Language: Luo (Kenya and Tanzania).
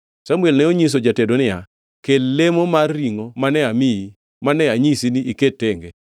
Samuel ne onyiso jatedo niya, “Kel lemo mar ringʼo mane amiyi, mane anyisi ni iket tenge.”